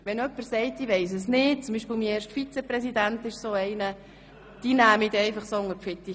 Sollte jemand sagen, er wisse es nicht – mein erster Vizepräsident ist zum Beispiel so einer –, nehme ich ihn unter die Fittiche.